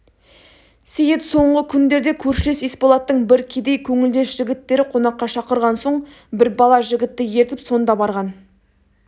сейіт соңғы күндерде көршілес есболаттың бір кедей көңілдес жігіттері қонаққа шақырған соң бір бала жігітті ертіп сонда барған